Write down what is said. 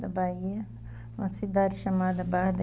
Bahia, uma cidad chamada barra